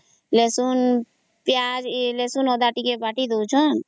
ରସୁଣ ପିଆଜ ରସୁଣ ଅଦା ଟିକେ ବାଟି ଦଉଛନ୍ତ